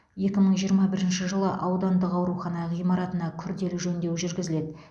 екі мың жиырма бірінші жылы аудандық аурухана ғимаратына күрделі жөндеу жүргізіледі